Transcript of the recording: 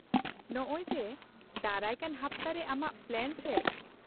-ᱱᱚᱜ ᱚᱭ ᱡᱮ, ᱫᱟᱨᱟᱭ ᱠᱟᱱ ᱦᱟᱯᱛᱟᱨᱮ ᱟᱢᱟᱜ ᱯᱞᱟᱱ ᱪᱮᱫ ?